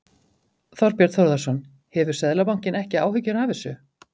Þorbjörn Þórðarson: Hefur Seðlabankinn ekki áhyggjur af þessu?